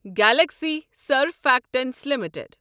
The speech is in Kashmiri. Galaxy Surfactants limited